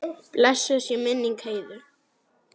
Blessuð sé minning Heiðu.